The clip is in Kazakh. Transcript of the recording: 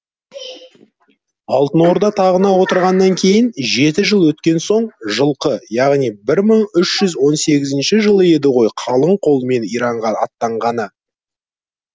алтын орда тағына отырғаннан кейін жеті жыл өткен соң жылқы яғни мың үш жүз он сегізінші жылы еді ғой қалың қолмен иранға аттанғаны